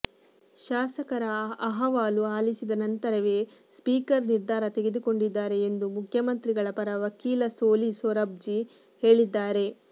ಶಾಸಕರ ಅಹವಾಲು ಆಲಿಸಿದ ನಂತರವೇ ಸ್ಪೀಕರ್ ನಿರ್ಧಾರ ತೆಗೆದುಕೊಂಡಿದ್ದಾರೆ ಎಂದು ಮುಖ್ಯಮಂತ್ರಿಗಳ ಪರ ವಕೀಲ ಸೋಲಿ ಸೊರಾಬ್ಜಿ ಹೇಳಿದ್ದಾರೆ